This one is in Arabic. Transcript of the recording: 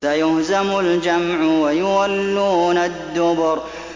سَيُهْزَمُ الْجَمْعُ وَيُوَلُّونَ الدُّبُرَ